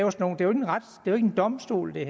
en domstol det